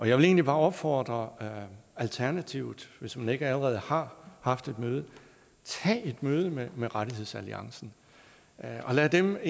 jeg vil egentlig bare opfordre alternativet til hvis man ikke allerede har haft et møde tag et møde med med rettighedsalliancen og lad dem